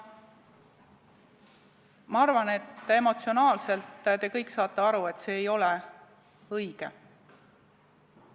Ma arvan, et emotsionaalselt te saate kõik aru, et see ei ole õige.